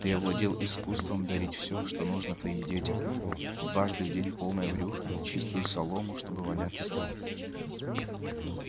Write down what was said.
ты овладел искусством дарить всё что нужно твоим детям дважды в день полное брюхо чистую солому чтобы валяться